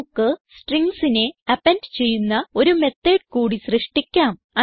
നമുക്ക് stringsനെ അപ്പെൻഡ് ചെയ്യുന്ന ഒരു മെത്തോട് കൂടി സൃഷ്ടിക്കാം